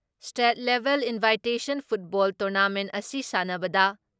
state ꯂꯦꯕꯦꯜ invitation football tournament ꯑꯁꯤ ꯁꯥꯟꯅꯕꯗ